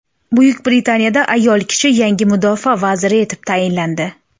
Buyuk Britaniyada ayol kishi yangi mudofaa vaziri etib tayinlandi.